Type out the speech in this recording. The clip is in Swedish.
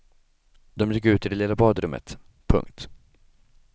De gick ut i det lilla badrummet. punkt